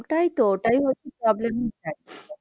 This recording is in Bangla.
ওটাই তো ওটাই হচ্ছে problem